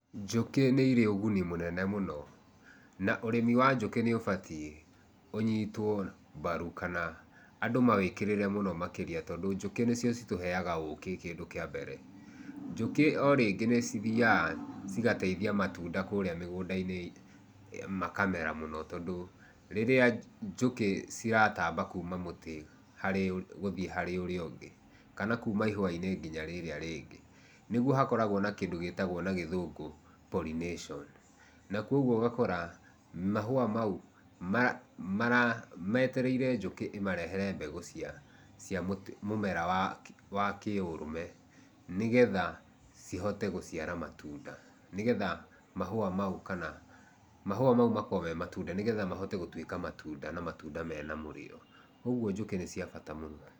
Njũkĩ nĩ irĩ ũgũni mũnene mũno, na ũrĩmĩ wa njũkĩ nĩ ũbatiĩ ũnyĩtwo barũ kana, andũ ma wekĩrĩre mũno makĩrĩa tũndũ njũkĩ nĩcĩo citũheaga ũkĩ kĩndũ kĩa mbere. Njũkĩ o rĩngĩ nĩci thĩaga cigateithia matũnda kũrĩa mĩgũnda-inĩ itũ, makamera mũno tondũ rĩrĩra njũkĩ cirataamba kũma mũtĩ harĩ gũthiĩ harĩ ũrĩa ũngĩ kana kũma ĩhũa-inĩ nginya rĩrĩa rĩngĩ nĩgũo hakoragwo na kĩndũ gĩtagwo na gĩthũngũ pollination, na kogwo ũgakora mahũa maũ metererĩe njũkĩ ĩmarehere mbegũ cĩa mũmera wa kĩũrũme nĩgetha cihoote gũciara matũnda, nĩgetha mahũa maũ, kana mahũa maũ makoragwo me matũnda, nĩgetha mahote gũtũĩka matũnda na matũnda mena mũrĩo. Kogwo njũkĩ nĩ cia bata mũno.